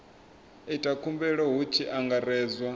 ita khumbelo hu tshi angaredzwa